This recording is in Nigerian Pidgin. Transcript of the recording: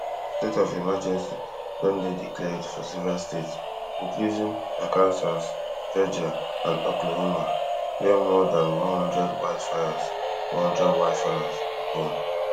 state of emergency don dey declared for several states including arkansas georgia and oklahoma wia more dan one hundred wildfires one hundred wildfires dey burn